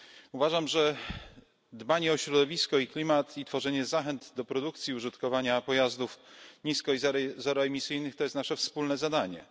Uważam, że dbanie o środowisko i klimat oraz tworzenie zachęt do produkcji i użytkowania pojazdów nisko i zeroemisyjnych są naszym wspólnym zadaniem.